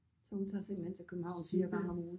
Så hun tager simpelthen til København 4 gange om ugen?